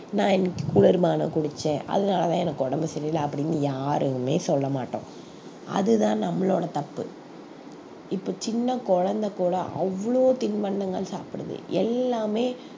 நான் இன்னைக்கு குளிர்பானம் குடிச்சேன் அதனாலதான் எனக்கு உடம்பு சரியில்லை அப்படின்னு யாருமே சொல்ல மாட்டோம் அது தான் நம்மளோட தப்பு இப்ப சின்ன குழந்தை கூட அவ்வளவு தின்பண்டங்கள் சாப்பிடுது எல்லாமே